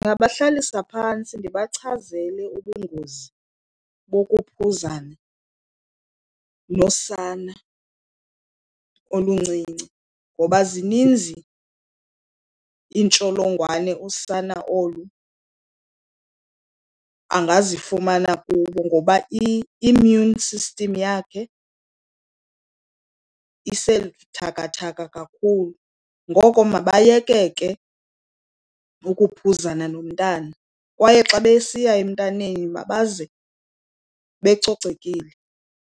Ndingabahlalisa phantsi ndibachazele ubungozi bokuphuzana nosana oluncinci, ngoba zininzi iintsholongwane usana olu angazifumana kubo ngoba i-immune system yakhe isebuthakathaka kakhulu. Ngoko mabayeke ke ukuphuzana nomntana kwaye xa besiya emntaneni mabaze becocekile.